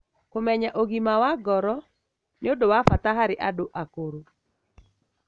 Kũmenya ũgima wa ngoro nĩ ũndiu wa bata harĩ andũ akũrũ.